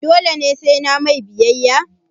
dole ne sai nayi mai biyayya?